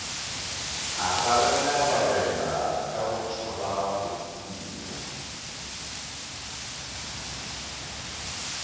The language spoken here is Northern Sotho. a rarelararela ka go tšhabagophula